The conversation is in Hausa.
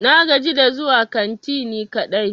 Na gaji da zuwa kanti ni kadai.